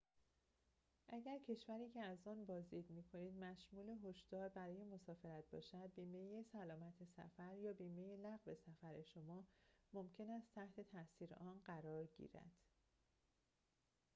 اگر کشوری که از آن بازدید می‌کنید مشمول هشدار برای مسافرت باشد بیمه سلامت سفر یا بیمه لغو سفر شما ممکن است تحت تأثیر آن قرار گیرد